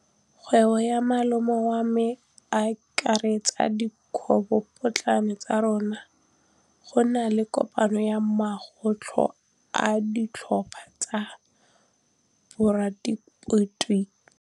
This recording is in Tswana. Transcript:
Kgwêbô ya malome wa me e akaretsa dikgwêbôpotlana tsa rona. Go na le kopanô ya mokgatlhô wa ditlhopha tsa boradipolotiki.